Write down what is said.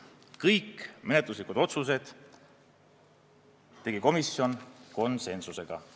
Kõik menetluslikud otsused tegi komisjon konsensusega.